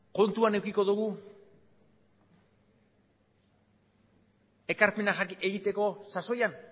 kontuan edukiko dugu ekarpena egiteko sasoian